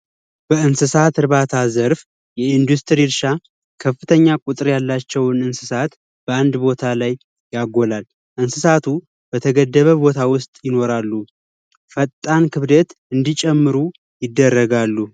የእንስሳት እርባታ ዘርፍ የኢንዱስትሪ እረሻ ከፍተኛ ቁጥጥር ያላቸውን እንስሳት በአንድ ቦታ ላይ ያጎላል። እንስሳቱ በተገደበ ቦታ ውስጥ ይኖራሉ ፈጣን ክብደት እንዲጨምሩ ይደረጋሉ።